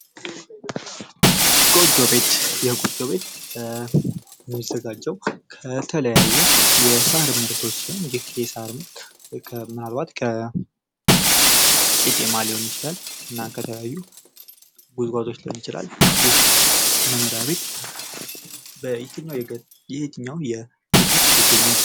ጎጆ ቤት፤ የጎጆ ቤት የሚዘጋጀው ከተለያዩ የሳር ምርቶች ሲሆን የሳር ምርት ማለት ከቄጤማ ሊሆን ይችላል እና ከተለያዩ ጉዝጓዞች ሊሆን ይችላል። ይህ መኖሪያ ቤት የየትኛውን የኢትዮጵያ ክፍል ይገኛል?